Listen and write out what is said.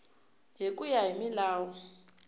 hi ku ya hi milawu